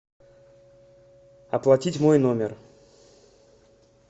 оплатить мой номер